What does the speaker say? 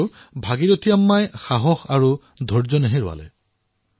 কিন্তু ভাগিৰথী আম্মাই নিজৰ সাহস নেহেৰুৱালে